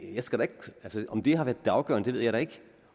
om det har været det afgørende ved jeg da ikke